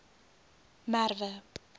merwe